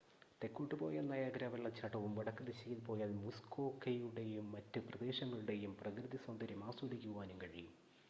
തെക്കോട്ട് പോയാൽ നയാഗ്രാ വെള്ളച്ചാട്ടവും വടക്ക് ദിശയിൽ പോയാൽ മുസ്‌കോക്കയുടെയും മറ്റ് പ്രദേശങ്ങളുടെയും പ്രകൃതി സൗന്ദര്യം ആസ്വദിക്കുവാനും കഴിയും